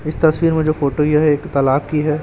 इस तस्वीर में जो फोटो यह एक तालाब की है।